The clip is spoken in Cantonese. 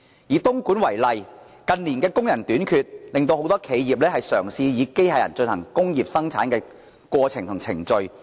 以東莞為例，近年工人短缺，很多企業也嘗試以機械人進行工業生產。